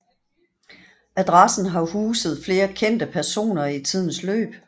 Adressen har huset flere kendte personer i tidens løb